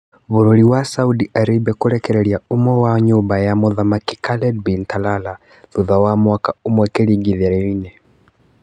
Bũrũri wa Saudi Arabia kũrekereria ũmwe wa nyũmba ya mũthamaki Khaled bin Talala thutha wa mwaka ũmwe kĩringithanĩrio-inĩ